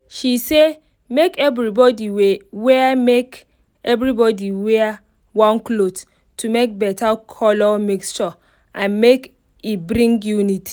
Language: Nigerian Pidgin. she say make everybody wear make everybody wear one cloth to make better color mixture and make e bring unity